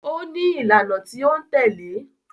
Ó ní ìlànà tí ó ń tẹ̀lé